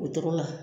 O tɔgɔ la